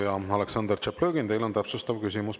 Ja, Aleksandr Tšaplõgin, teil on täpsustav küsimus.